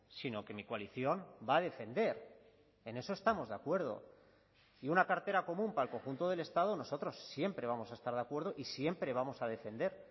sino que mi coalición va a defender en eso estamos de acuerdo y una cartera común para el conjunto del estado nosotros siempre vamos a estar de acuerdo y siempre vamos a defender